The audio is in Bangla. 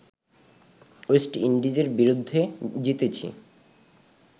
ওয়েস্ট ইন্ডিজের বিরুদ্ধে জিতেছে